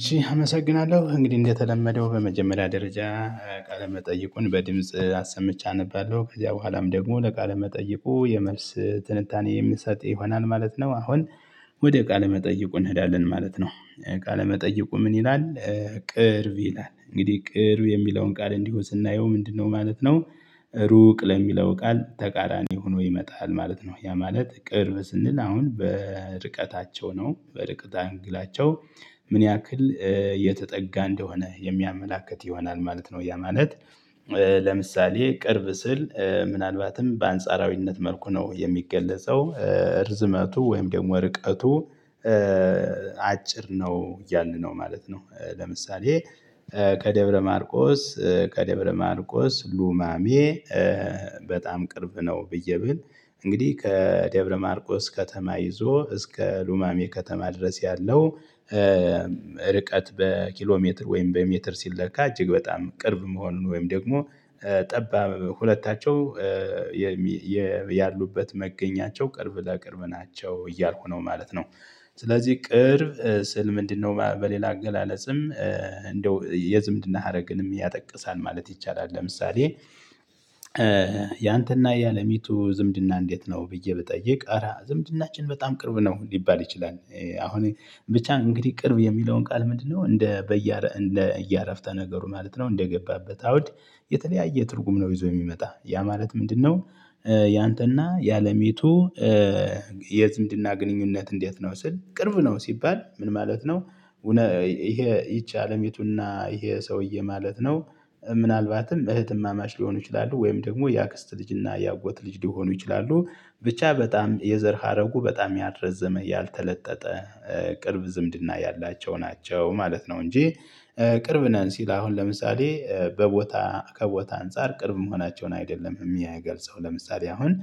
እሺ አመሰግናለሁ እንግዲህ እንደተለመደው በመጀመሪያ ደረጃ ቃለመጠይቁን በድምጽ አሰምቼ አነባለሁ ከዚያ በኋላም ደግሞ ለቃለ መጠየቁ የመልስ ትንታኔ የምሰጥ ይሆናል ማለት ነው። አሁን ወደ ቃለ መጠይቁ እንሄዳለን ማለት ነው። ቃለ መጠይቁ ምን ይላል? ቅርብ ይላል እንግዲህ ቅርብ የሚለውን ቃል እንዲሁ ስናየው ምንድነው ማለት ነው? ሩቅ ለሚለው ቃል ተቃራኒ ሆኖ ይመጣል ማለት ነው ያ ማለት ቅርብ ስንል አሁን በርቀታቸው ነው በርቀተ አንግላቸው። ምን ያክል የተጠጋ እንደሆነ የሚያመላክት ይሆናል ማለት ነው። ያ ማለት ለምሳሌ ቅርብ ስል ምናልባትም በአንጻራዊነት መልኩ ነው የሚገለጸው እርዝመቱ ወይም ደግሞ ርቀቱ። አጭር ነው ያልን ነው ማለት ነው። ለምሳሌ ከደብረ ማርቆስ ከደብረ ማርቆስ ሉማሜ በጣም ቅርብ ነው። ብዬ ብል እንግዲህ ከደብረማርቆስ ከተማ ይዞ እስከ ሉማሜ ከተማ ድረስ ያለው። ርቀት በኪሎ ሜትር ወይም በሜትር ሲለካ እጅግ በጣም ቅርብ መሆኑን ወይም ደግሞ ጠባብ ሁለታቸው ያሉበት መገኛቸው ቅርብ ለቅርብ ናቸው እያልኩ ነው ማለት ነው። ስለዚህ ቅርብ ስል ምንድነው በሌላ አገላለጽም እንደው የዝምድና ሀረግንም ያጠቅሳል ማለት ይቻላል። ለምሳሌ ያንተና ያለሚቱ ዝምድና እንዴት ነው ብዬ ብጠይቅ አረ ዝምድናችን በጣም ቅርብ ነው ሊባል ይችላል። አሁን ብቻ እንግዲህ ቅርብ የሚለውን ቃል ምንድነው? እንደ በየ እንደ እያረፍተ ነገሩ ማለት ነው እንደገባበት አውድ የተለያየ ትርጉም ነው። ይዞ የሚመጣ ያ ማለት ምንድነው? ያንተና ያለሚቱ የዝምድና ግንኙነት እንዴት ነው ስል ቅርብ ነው ሲባል ምን ማለት ነው? ይሄ ይቺ አለሚቱና ይሄ ሰውዬ ማለት ነው። ምናልባትም እህትማማች ሊሆኑ ይችላሉ ወይም ደግሞ የአክስት ልጅ እና የአጎት ልጅ ሊሆኑ ይችላሉ። ብቻ በጣም የዘር ሀረጉ በጣም ያልረዘመ ያልተለጠጠ ቅርብ ዝምድና ያላቸው ናቸው ማለት ነው። እንጂ ቅርብ ነን ሲል አሁን ለምሳሌ በቦታ ከቦታ አንፃር ቅርብ መሆናቸውን አይደለም የሚያገልጸው። ለምሳሌ አሁን